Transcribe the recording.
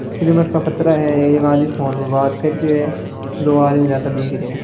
सीमेंट का पतरा है एक आदमी फोन में बात कर रियो है दो आदमी जाता दिख रिया है।